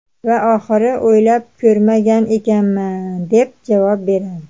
Va oxiri "o‘ylab ko‘rmagan ekanman" deb javob beradi.